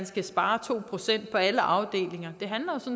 skal spares to procent på alle afdelinger det handler